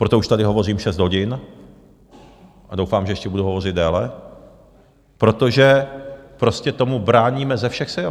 Proto už tady hovořím šest hodin a doufám, že ještě budu hovořit déle, protože prostě tomu bráníme ze všech sil.